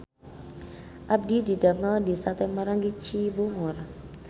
Abdi didamel di Sate Maranggi Cibungur